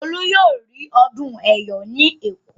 Olú yóò rí ọdún Ẹ̀yọ̀ ní Èkó.